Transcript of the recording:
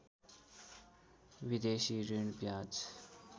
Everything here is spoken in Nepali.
विदेशी ऋण ब्याज